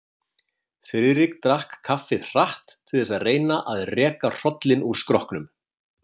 Friðrik drakk kaffið hratt til þess að reyna að reka hrollinn úr skrokknum.